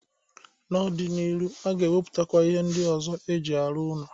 N'ọ dị n'iru aga emepụtakwa ihe ndị ọzọ e ji arụ ụnọ.